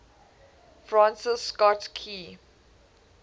francis scott key